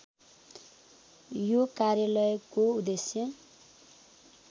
यो कार्यालयको उद्देश्य